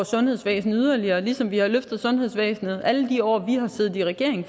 sundhedsvæsen yderligere ligesom vi har løftet sundhedsvæsenet alle de år vi har siddet i regering